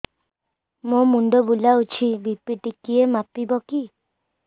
ମୋ ମୁଣ୍ଡ ବୁଲାଉଛି ବି.ପି ଟିକିଏ ମାପିବ କି